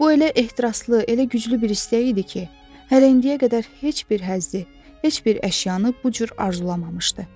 Bu elə ehtiraslı, elə güclü bir istək idi ki, hələ indiyə qədər heç bir həzzi, heç bir əşyanı bu cür arzulamamışdı.